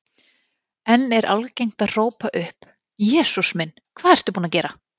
Enn er algengt að hrópa upp: Jesús minn, hvað ertu búinn að gera?